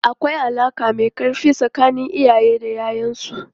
Akwai alaka mai karfi tsakanin iyaye da 'ya'yansu.